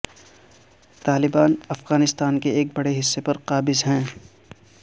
طالبان افغانستان کے ایک بڑے حصے پر قابض ہیں